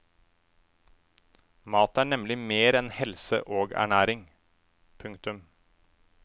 Mat er nemlig mer enn helse og ernæring. punktum